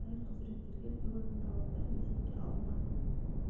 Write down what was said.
сай құзыреттерге қойылатын талаптар есепке алынған